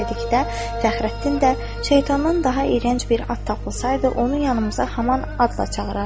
Dedikdə Fəxrəddin də şeytandan daha irəng bir ad tapılsaydı, onu yanımıza hamam adla çağırardıq.